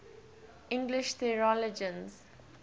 english theologians